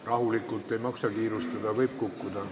Rahulikult, ei maksa kiirustada, võib kukkuda.